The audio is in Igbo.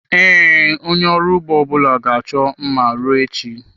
Ee, onye ọrụ ugbo ọbụla ga-achọ mma ruo echi.